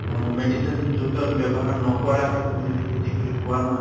আৰু medicine যুক্ত ব্য়ৱহাৰ নকৰাকে তুমি যদি খেতি কৰি খোৱা নহয়